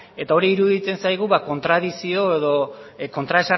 eta hor iruditzen zaigu kontradikzio edo